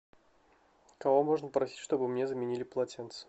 кого можно попросить чтобы мне заменили полотенце